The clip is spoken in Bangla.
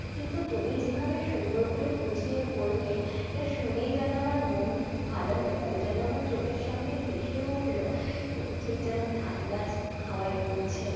কিন্তু তুমি যেভাবে সুন্দর করে বুঝিয়ে বললে এটা শুনেই যেন আমার মন ভালো হয়ে গেল যেন আমার চোখের সামনে ভেসে উঠল যে ঠিক যেন ধানগাছ হওয়ায় দুলছে।